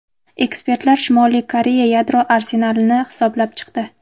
Ekspertlar Shimoliy Koreya yadro arsenalini hisoblab chiqdi.